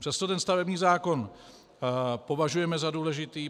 Přesto ten stavební zákon považujeme za důležitý.